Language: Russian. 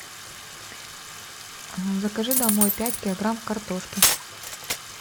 закажи домой пять килограмм картошки